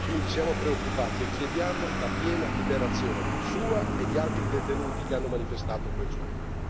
Quindi siamo preoccupati e chiediamo la piena liberazione sua e di altri detenuti che hanno manifestato quel giorno.